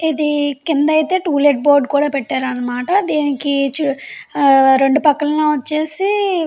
ఇది కింద అయితే టులెట్ బోర్డు కూడా పెట్టారన్నమాట. దీనికి రెండు పక్కలా వచ్చేసి --